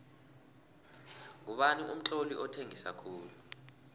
ngubani umtloli othengisa khulu